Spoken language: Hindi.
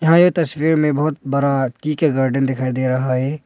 यहां ये तस्वीर में बहोत बड़ा टी के गार्डेन दिखाई दे रहा है।